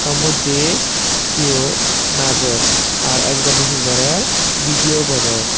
songmodde siyot najer ar ekjoney hi gorer bidiyo gorer.